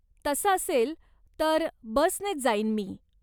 तसं असेल, तर बसनेच जाईन मी.